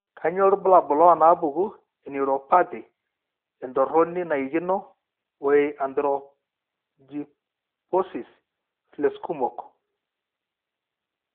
Kainyio irbulabul onaapuku eNeuropathy, entoroni naikino, o e arthrogryposis plexkumok?